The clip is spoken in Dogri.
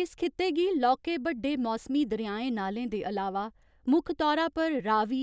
इस खित्ते गी लौह्के बड्डे मौसमी दरेआएं नाले दे अलावा मुक्ख तौरा पर रावी,